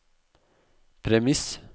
premiss